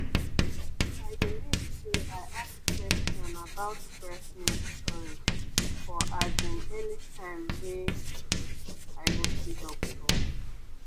i dey make say i ask question about breast milk storage for as in any time wey i go see doctor.